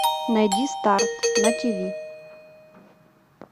найди старт на тв